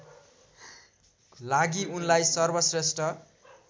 लागि उनलाई सर्वश्रेष्ठ